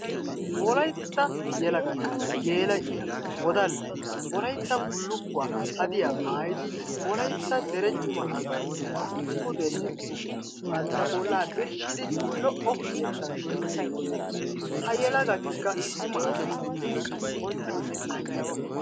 Wolaytta yelagati geela'iya, wodallayi wolytta bullukkuwa hadiya maayidi wolaytta dere cima asaa sinttan pudenne dugenne bantta bollaa birshshidi lo7o yettan duriiddi beettes. Ha yelagatikka cima asaa sinttan bonchchonne anjjettoosona.